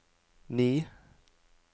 ni